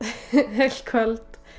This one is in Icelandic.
heilt kvöld